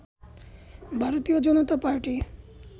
ভারতীয় জনতা পার্টি